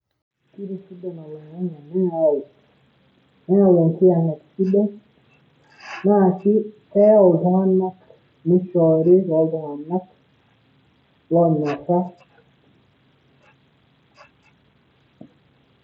Ketisidan oling'ang'e neyau enkayang'et sidai naa pee ayau iltung'anak nishoori toltung'anak.